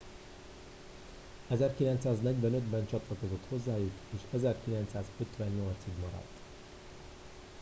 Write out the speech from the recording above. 1945 ben csatlakozott hozzájuk és 1958 ig maradt